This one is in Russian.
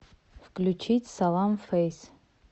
включить салам фейс